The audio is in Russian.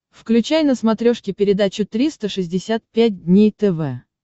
включай на смотрешке передачу триста шестьдесят пять дней тв